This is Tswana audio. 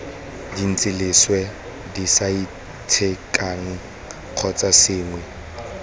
dintsi leswe disaitshekang kgotsa sengwe